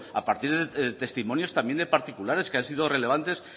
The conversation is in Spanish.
a partir de testimonios también de particulares que han sido relevantes